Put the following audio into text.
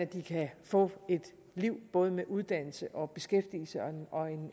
de kan få et liv både med uddannelse og beskæftigelse og